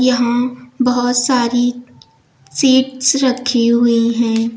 यहां बहोत सारी सिप्स रखी हुई है।